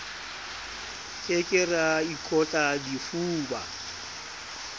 ke ke ra ikotla difuba